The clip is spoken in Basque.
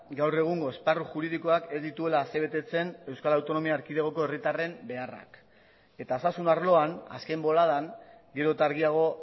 gaur egungo esparru juridikoak ez dituela asebetetzen euskal autonomia erkidegoko herritarren beharrak eta osasun arloan azken boladan gero eta argiago